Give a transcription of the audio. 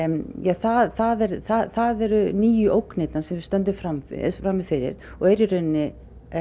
það eru það eru nýju ógnirnar sem við stöndum frammi frammi fyrir og eru í rauninni